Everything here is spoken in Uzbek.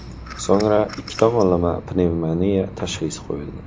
So‘ngra ikki tomonlama pnevmoniya tashxisi qo‘yildi.